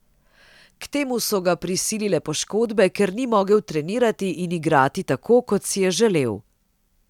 K temu so ga prisilile poškodbe, ker ni mogel trenirati in igrati tako, kot si je želel.